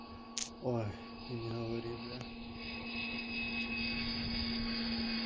ой не говори блять